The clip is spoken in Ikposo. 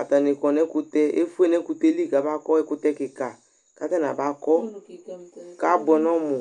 Atanɩ kɔ nʋ ɛkʋtɛ, efue nʋ ɛkʋtɛ yɛ li kamakɔ ɛkʋtɛ kɩka kʋ atanɩ abakɔ kʋ abʋɛ nʋ ɔmʋ